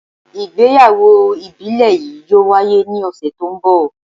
Igbeyawo ibile yii yoo waye ni ọsẹ ti n bọ